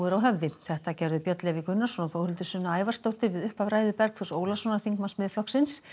á höfði þetta gerðu Björn Leví Gunnarsson og Þórhildur Sunna Ævarsdóttir við upphaf ræðu Bergþórs Ólasonar þingmanns Miðflokksins